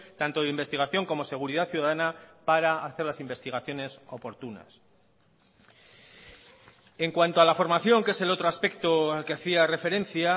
tanto de investigación como seguridad ciudadana para hacer las investigaciones oportunas en cuanto a la formación que es el otro aspecto al que hacía referencia